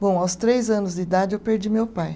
Bom, aos três anos de idade eu perdi meu pai.